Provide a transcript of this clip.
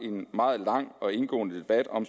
en meget lang og indgående debat om